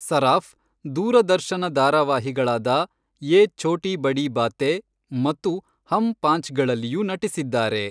ಸರಾಫ್ ದೂರದರ್ಶನ ಧಾರಾವಾಹಿಗಳಾದ ಯೇ ಛೋಟೀ ಬಡೀ ಬಾತೇ ಮತ್ತು ಹಮ್ ಪಾಂಚ್ಗಳಲ್ಲಿಯೂ ನಟಿಸಿದ್ದಾರೆ.